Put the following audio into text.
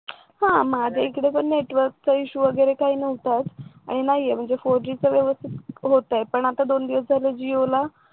हा माझ्या ईकडे तर नेटवर्क issue वगैरे काही काही नव्हताच आणि नाहीये म्हणजे four G व्यवस्थित होतय पण आता दोन दिवस झाले जिओला